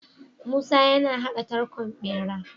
Musa yana hada tarkon bera